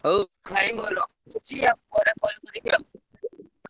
ହଉ ଭାଇ ମୁଁ ରଖୁଛି ଆଉ ପରେ call କରିବି ଆଉ।